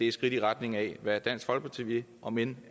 et skridt i retning af hvad dansk folkeparti vil omend